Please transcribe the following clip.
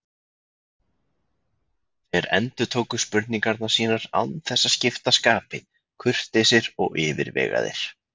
Þeir endurtóku spurningar sínar án þess að skipta skapi, kurteisir og yfirvegaðir.